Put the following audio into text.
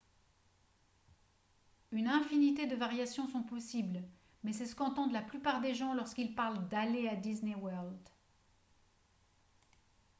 une infinité de variations sont possibles mais c’est ce qu’entendent la plupart des gens lorsqu’ils parlent d’« aller à disney world »